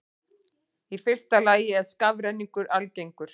Í fyrsta lagi er skafrenningur algengur.